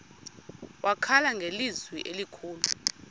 wakhala ngelizwi elikhulu